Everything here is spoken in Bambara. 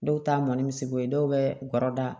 Dɔw ta mɔni misibo ye dɔw bɛ guɔrɔ da